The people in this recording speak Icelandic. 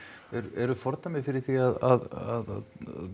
eru fordæmi fyrir því að